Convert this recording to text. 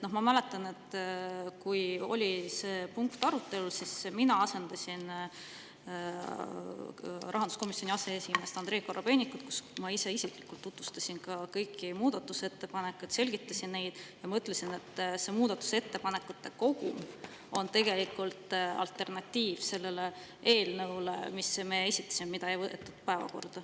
Ma mäletan, et kui see punkt oli komisjonis arutelul, siis mina asendasin rahanduskomisjoni aseesimeest Andrei Korobeinikut, nii et ma ise tutvustasin tookord ka kõiki muudatusettepanekuid, selgitasin neid ja ütlesin, et see muudatusettepanekute kogum on alternatiiv sellele eelnõule, mis meie esitasime, aga mida ei võetud päevakorda.